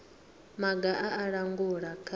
maga a u langula kha